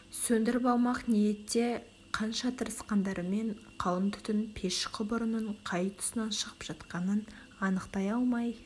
сөндіріп алмақ ниетте қанша тырысқандарымен қалың түтін пеш құбырының қай тұсынан шығып жатқанын анықтай алмай